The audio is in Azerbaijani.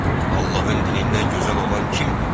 Allahın dinindən gözəl olan kimdir?